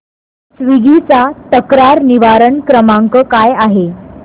Swiggy चा तक्रार निवारण क्रमांक काय आहे